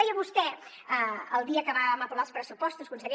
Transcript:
deia vostè el dia que vam aprovar els pressupostos conseller